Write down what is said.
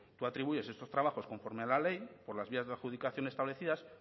tu atribuyes estos trabajos conforme a la ley por las vías de la adjudicación establecidas